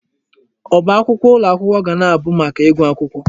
Ọba akwụkwọ ụlọ akwụkwọ ga na-abụ maka ịgụ akwụkwọ.